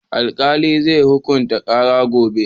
Alkali zai hukunta karan gobe